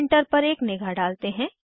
अब प्रिंटर पर एक निगाह डालते हैं